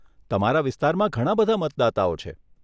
તમારા વિસ્તારમાં ઘણાં બધાં મતદાતાઓ છે.